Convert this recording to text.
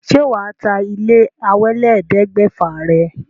Ṣé wà á ta ilé ẹ̀wálélẹ́ẹ̀ẹ́dẹ́gbẹ́fà rẹ̀?